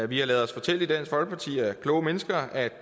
vi har ladet os fortælle i dansk folkeparti af kloge mennesker at